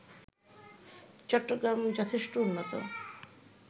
চট্টগ্রাম যথেষ্ট উন্নত